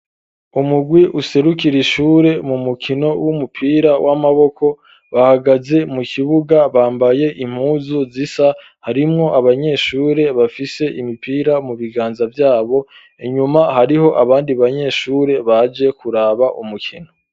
Umurwi userukira ishure mu mukino w'umupira w'amaboko bahagaze mu kibuga bambaye impuzu zisa harimwo abanyeshure bafise imipira mu biganza vyabo inyuma hariho abandi banyeshure baje kuraba umukino